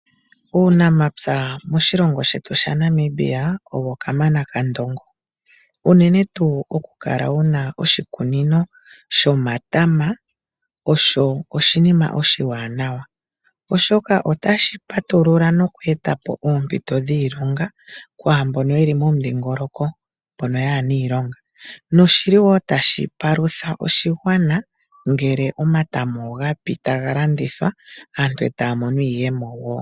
Uunamapya moshilongo shetu sha Namibia ogo kamana kandongo unene tuu okukala wuna oshikunino shomatama osho shinima oshiwanawa, oshoka otashi patulula noku etapo oompito dhiilonga kwaambono yeli mbono kaayena iilonga noshili woo tashi palutha oshigwana ngele omatama ogapi taga landithwa aantu etaya mono iiyemo woo.